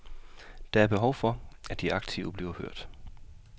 Der er behov for at de aktive bliver hørt.